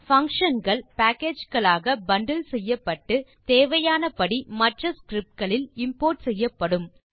function கள் package களாக bundle செய்யப்பட்டு தேவையானபடி மற்ற ஸ்கிரிப்ட் களில் இம்போர்ட் செய்யப்படும்